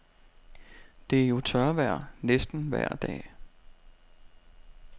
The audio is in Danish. Det er jo tørvejr næsten vejr dag.